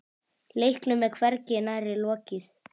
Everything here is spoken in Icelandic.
Leiknum er hvergi nærri lokið.